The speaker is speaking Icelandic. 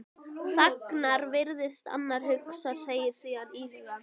Þagnar, virðist annars hugar, segir síðan íhugul